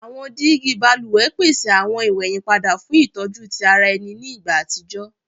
Awọn digi baluwẹ pese awọn iweyinpada fun itọju ti ara ẹni ni igba atijọ